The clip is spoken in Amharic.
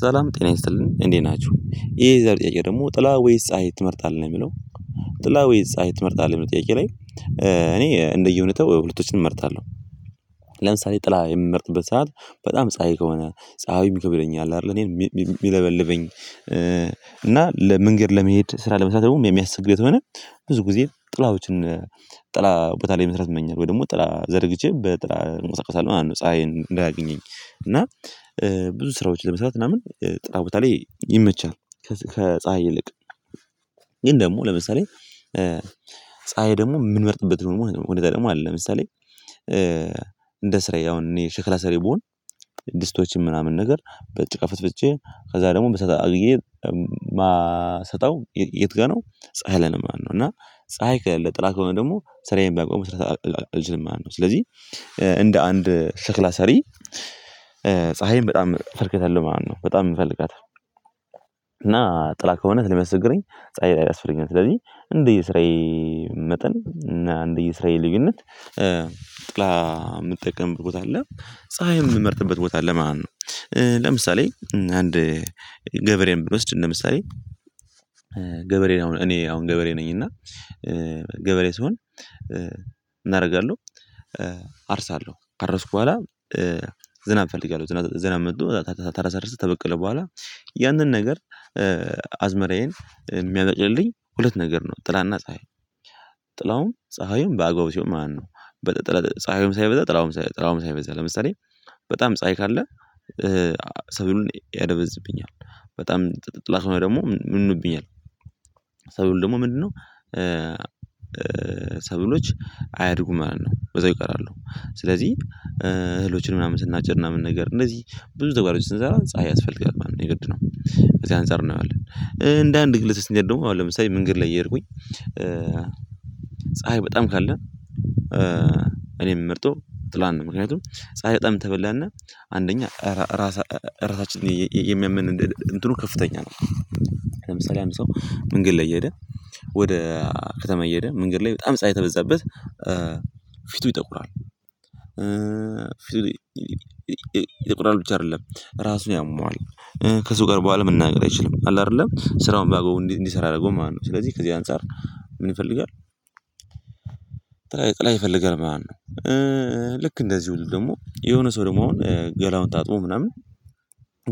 ሰላም ጤና ይስጥልኝ እንዴት ናችሁ ይሄ የዛሬ ጥያቄ ደግሞ ጥላ ወይስ ፀሀይ ትመርጣለህ የሚለው ጥላ ወይስ ፀሀይ ትመርጣለህ ሚል ጥያቄ ላይ? እኔ እንደየሁኔታው ሁለቶችን እመርጣለሁ። ለምሳሌ ጥላ የምመርጥበት ሰዓት በጣም ፀሀይ ከሆነ ፀሀዩ ይከብደኛል አይደል እኔን የሚለበልበኝ። እና ለመንገድ ለመሄድ ስራ ለመስራት የሚያስቸግረኝ ተሆነ ብዙ ጊዜ ጥላዎችን ጥላ ቦታ ላይ መስራት ይመኛል ወይ ደግሞ ጥላ ዘርግቼ በጥላ እንቀሳቀሳለሁ ምናምን ፀሀይን እንዳያገኘኝ። እና ብዙ ስራዎች ለመስራት ምናምን ጥላ ቦታ ላይ ይመቻል ከፀሀይ ይልቅ። ግን ደግሞ ለምሳሌ ፀሀይ ደግሞ የምንመርጥበት ደሞ ሁኔታ ደሞ አለ። ለምሳሌ ስራዬ አሁን እኔ ሸክላ ሰሪ ብሆን ድስቶችን ምናምን ነገር በጭቃ ፈትፍቸ ከዛ ደግሞ በሳት አግየ ማሰጣው የት ጋር ነው? ፀሀይ ላይ ነው ማለት እና ፀሀይ ከለለ ጥላ ከሆነ ደግሞ ስራዬን ባግባቡ መስራት አልችልም ማለት ነው። ስለዚህ እንደ አንድ ሽክላ ሰሪ ፀሀይም በጣም ፈርክተህ ነው ማለት ነው በጣም የምፈልጋት። እና ጥላ ከሆነ ስለሚያስቸግረኝ ፀሀይ ያስፈልጋል ስለዚህ እንደየ ስራየ መጠን እና እንደየ ስራየ ልዩነት ጥላ ምጠቀምበት ቦታ አለ ፀሀይ ምመርጥበት ቦታ አለ ማለት ነው። ለምሳሌ አንድ ገበሬን ብንወስድ ምሳሌ ገበሬን አሁን እኔ አሁን ገበሬ ነኝ። እና ገበሬ ስሆን ምን አረርጋለሁ? አርሳለሁ ካረስኩ በኋላ ዝናብ እፈልጋለሁ ዝናብ አመጡ ተራ ሰርሰህ ተበቀለ በኋላ ያንን ነገር አዝመራዬን የሚያነጭልኝ ሁለት ነገር ነው ጥላና ፀሀይ። ጥላውም ፀሀዩም በአገባቡ ሲሆን ማለት ነው። ፀሀዩም ሳይበዛ ጥላውም ሳይበዛ ለምሳሌ በጣም ፀሀይ ካለ ሰው ያደበዝብኛል በጣም ጥላ ከሆኖ ደግሞ ምኑብኛል ሰብሉ ደግሞ ምንድነው? ሰብሎች አያድጉም ማለት ነው በዛው ይቀራሉ ስለዚህ እህሎችን ምናምን ስናጭድ ምናምንን ነገር እነዚህ ብዙ ተግባሮች ስንሰራ ፀሀይ ያስፈልጋል ማለት ነው የግድ ነው። ከዚ አንፃር እናየዋለን እንደ አንድ ግለሰብ ስንሄድ ደግሞ አሁን ለምሳሌ መንገድ ላይ እየሄድኩኝ። ፀሀይ በጣም ካለ እኔ ምመርጠው ጥላነው ምክንያቱም ፀሀይ በጣም ተበላንና አንደኛ ራሳ ራሳችንን የሚያመን እንትኑ ከፍተኛ ነው። ለምሳሌ አንድ ሰው መንገድ ላይ እየሄደ ወደ ከተማ እየሄደ መንገድ ላይ በጣም ፀሀይ ተበዛበት ፊቱ ይጠቁራል። ፊቱ ይጠቁራል ብቻ አደለም ራሱ ያመዋል ከሰው ጋር በኋላ መናገር አይችልም አለ አይደለም ስራውን ባአግባቡ እንዲሰራ አያደረገው ማለት ነው። ስለዚህ ከዚህ አንፃር ምን ይፈልጋል? ጥላ ይፈልጋል ማለት ነው። ልክ እንደዚሁም ደግሞ የሆነ ሰው ደግሞ አሁን ገላውን ታጥቦ ምናምን